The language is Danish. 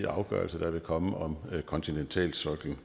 afgørelser der vil komme om kontinentalsoklen